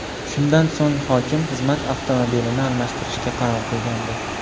Shundan so‘ng hokim xizmat avtomobilini almashtirishga qaror qilgandi .